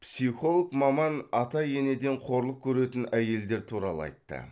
психолог маман ата енеден қорлық көретін әйелдер туралы айтты